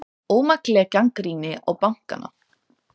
Ómakleg gagnrýni á bankana